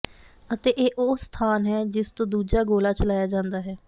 ਅਤੇ ਇਹ ਉਹ ਸਥਾਨ ਹੈ ਜਿਸ ਤੋਂ ਦੂਜਾ ਗੋਲਾ ਚਲਾਇਆ ਜਾਂਦਾ ਹੈ